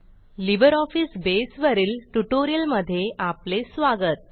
LibreOffice Base वरील ट्युटोरियलमधे आपले स्वागत